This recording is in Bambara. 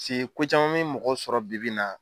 Si ko caman be mɔgɔ sɔrɔ bibi in na